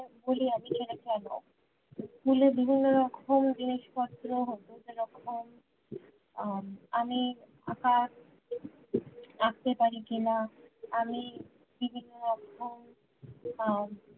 school এ বিভিন্ন রকম জিনিসপত্র হতো বিভিন্ন রকম উম আমি আঁকা আঁকতে পারি কিনা আমি বিভিন্ন রকম উম